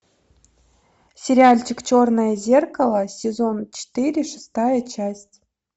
сериальчик черное зеркало сезон четыре шестая часть